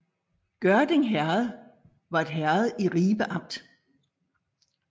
Gørding Herred var et herred i Ribe Amt